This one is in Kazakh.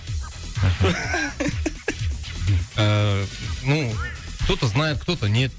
ыыы ну кто то знает кто то нет